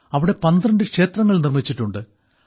അവിടെ 12 ക്ഷേത്രങ്ങൾ നിർമ്മിച്ചിട്ടുണ്ട്